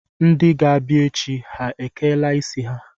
Ndị ga-abịa echi ha ekeela isi ha?